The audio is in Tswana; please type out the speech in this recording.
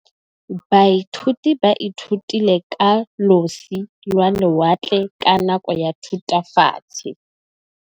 Baithuti ba ithutile ka losi lwa lewatle ka nako ya Thutafatshe.